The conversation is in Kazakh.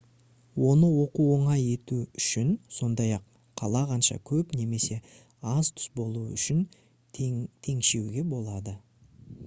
оны оқу оңай ету үшін сондай-ақ қалағанша көп немесе аз түс болуы үшін теңшеуге болады